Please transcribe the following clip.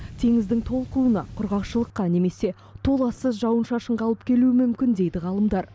теңіздің толқуына құрғақшылыққа немесе толассыз жауын шашынға алып келуі мүмкін дейді ғалымдар